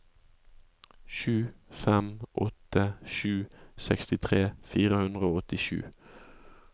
sju fem åtte sju sekstitre fire hundre og åttisju